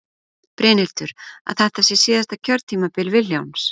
Brynhildur: Að þetta sé síðasta kjörtímabil Vilhjálms?